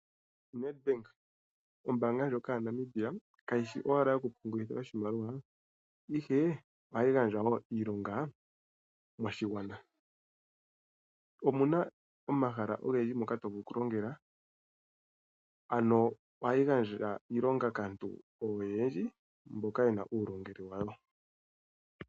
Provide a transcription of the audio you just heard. Nedbank ombaanga ndjoka yaNamibia kayishi owala yoku pungulitha oshimaliwa ihe ohayi gandja woo iilonga moshigwana. Omuna omahala ogendji moka tovulu oku longela ,ano ohayi gandja iilonga kaantu oyendji mboka ye na uulongelwe wawo.